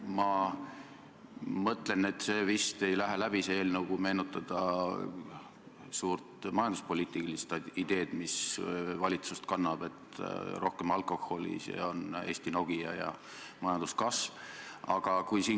Ma mõtlen, et see eelnõu ei lähe vist läbi, kui meenutada suurt majanduspoliitilist ideed, mis valitsuse tegevust kannab: rohkem alkoholi, see on Eesti Nokia ja majanduskasv!